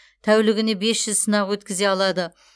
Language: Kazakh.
тәулігіне бес жүз сынақ өткізе алады